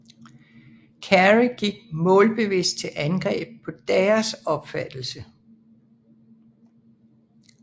Carey gik målbevidst til angreb på deres opfattelse